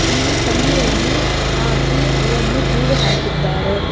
ಇಲ್ಲಿ ಕಂಬಿಯನ್ನು ಹಾಕಿ ಅವನ್ನು ಕೂಡ ಹಾಕಿದ್ದಾರೆ.